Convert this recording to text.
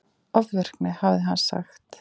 Ofvirkni, hafði hann sagt.